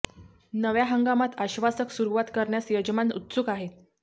नव्या हंगामात आश्वासक सुरुवात करण्यास यजमान उत्सुक आहे